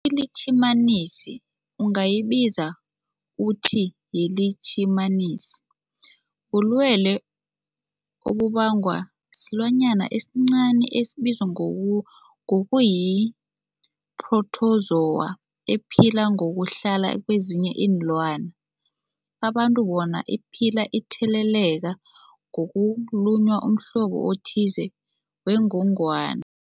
iLitjhimanisi ungayibiza uthiyilitjhimanisi, bulwelwe obubangwa silwanyana esincani esibizwa ngoyu ngokuthiyi-phrotozowa ephila ngokuhlala kezinye iinlwana, abantu bona iphile itheleleka ngokulunywa mhlobo othize wengogwana.